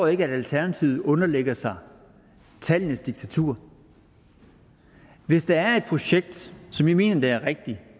ikke at alternativet underlægger sig tallenes diktatur hvis der er et projekt som i mener er rigtigt